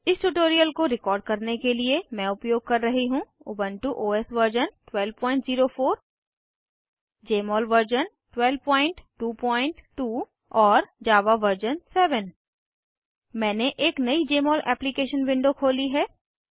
इस ट्यूटोरियल को रिकॉर्ड करने के लिए मैं उपयोग कर रही हूँ Ubuntu OS version 1204 Jmol version 1222 और जावा वर्जन 7 मैंने एक नयी जमोल एप्लीकेशन विंडो खोली है